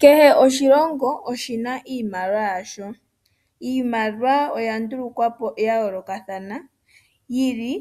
Kehe oshilongo oshina iimaliwa yasho. Iimaliwa oya ndulukwa po ya yoolokathana, yili